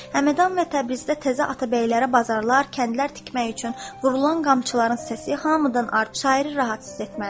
Həmədan və Təbrizdə təzə atabəylərə bazarlar, kəndlər tikmək üçün vurulan qamçıların səsi hamıdan artıq şairi rahat hiss etməlidir.